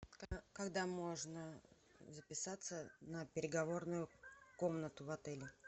когда можно записаться на переговорную комнату в отеле